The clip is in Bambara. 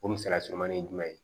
O misaliya surumanin jumɛn